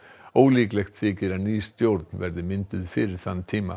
ólíklegt þykir að ný stjórn verði mynduð fyrir þann tíma